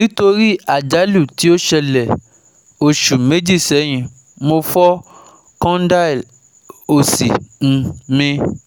Nítorí àjálù tí ó ṣẹlẹ̀ oṣù méjì sẹ́yìn, mo fọ́ condyle òsì um mi